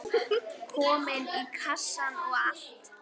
Komin í kassann og allt.